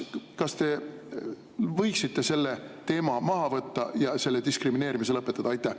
Kas te võiksite selle teema maha võtta ja selle diskrimineerimise lõpetada?